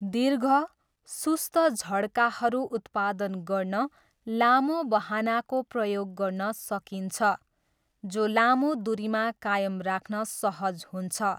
दिर्घ, सुस्त झड्काहरू उत्पादन गर्न लामो बहनाको प्रयोग गर्न सकिन्छ, जो लामो दुरीमा कायम राख्न सहज हुन्छ।